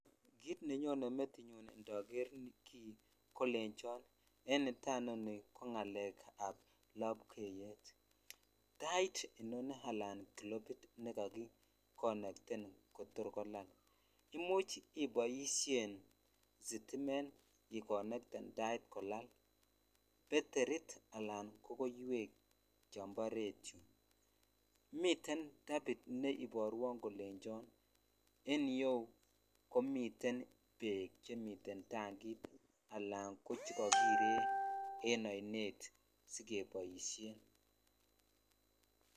Kiit nenyone metinyun indoker kii kolenchon en nataa inoni ko ng'alekab lobkeyet, tait inoni alan kilopit nekakikonekten kotor kolal, imuch iboishen sitimet ikonekten tait kolal, beterit alan ko koiwek chombo retio, miten tabit neiborwon kolenchon en iyeuu komiten beek chemiten tang't alan ko chekokire en oinet sikeboishen.